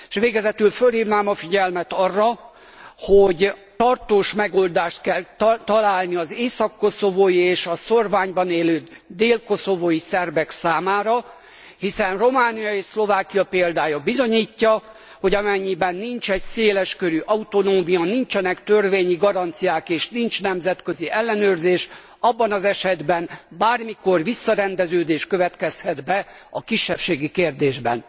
És végezetül fölhívnám a figyelmet arra, hogy tartós megoldást kell találni az észak koszovói és a szórványban élő dél koszovói szerbek számára. Hiszen Románia és Szlovákia példája bizonyítja, hogy amennyiben nincs széleskörű autonómia, nincsenek törvényi garanciák, és nincs nemzetközi ellenőrzés, abban az esetben bármikor visszarendeződés következhet be a kisebbségi kérdésben.